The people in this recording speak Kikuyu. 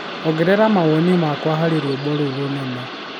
ongerera mawoni makwa harĩ rwĩmbo rũrũ rũnene